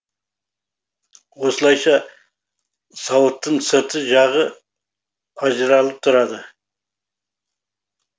осылайша сауыттың сыртқы жағы ажыралып тұрады